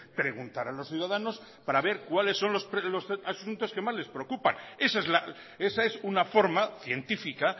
preguntar a los ciudadanos para ver cuáles son los asuntos que más le preocupan esa es una forma científica